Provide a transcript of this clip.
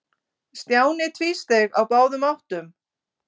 Stjáni tvísteig á báðum áttum.